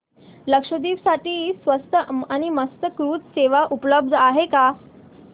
लक्षद्वीप साठी स्वस्त आणि मस्त क्रुझ सेवा उपलब्ध आहे का